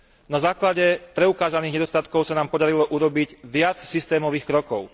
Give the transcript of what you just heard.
Na základe preukázaných nedostatkov sa nám podarilo urobiť viac systémových krokov.